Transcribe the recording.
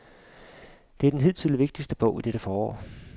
Dette er den hidtil vigtigste bog i dette efterår.